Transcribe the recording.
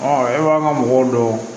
e b'a ka mɔgɔw dɔn